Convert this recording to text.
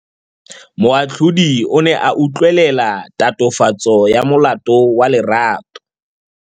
Moatlhodi o ne a utlwelela tatofatsô ya molato wa Lerato.